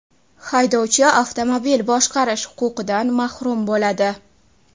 haydovchi avtomobil boshqarish huquqidan mahrum bo‘ladi.